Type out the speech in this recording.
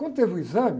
Quando teve o exame,